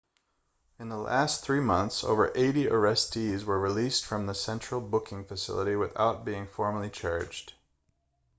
in the last 3 months over 80 arrestees were released from the central booking facility without being formally charged